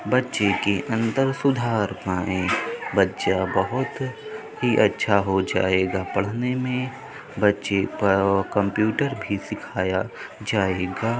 बच्चे के अंदर सुधार पाए। बच्चा बोहोत ही अच्छा हो जायेगा पढ़ने में। बच्चे कंप्युटर भी सिखाया जायेगा।